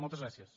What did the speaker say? moltes gràcies